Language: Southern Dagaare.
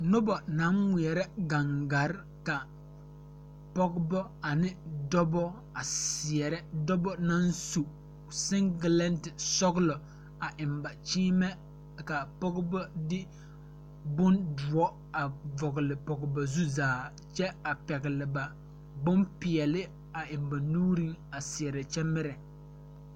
Nobɔ naŋ ngmeɛrɛ gaŋgarre ka pɔgebɔ ane dɔbɔ a seɛrɛ dɔbɔ naŋ su seŋgilɛnte sɔglɔ a eŋ ba kyiimɛ ka a pɔgebɔ de bon doɔ a vɔgle pɔge ba zu zaa kyɛ a pɛgle ba bonpeɛle a eŋ ba nuuriŋ a seɛrɛ kyɛ mirɛ.